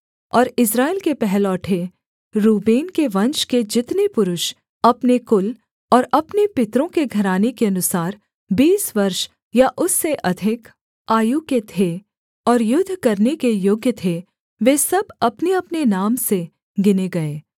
और इस्राएल के पहलौठे रूबेन के वंश के जितने पुरुष अपने कुल और अपने पितरों के घराने के अनुसार बीस वर्ष या उससे अधिक आयु के थे और युद्ध करने के योग्य थे वे सब अपनेअपने नाम से गिने गए